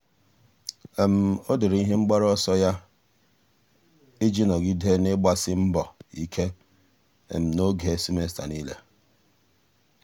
um ọ́ dèrè um ihe mgbaru um ọsọ ya iji nọ́gídé n’ị́gbàsí mbọ ike n’ógè semester niile.